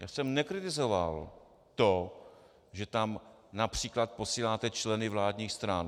Já jsem nekritizoval to, že tam například posíláte členy vládních stran.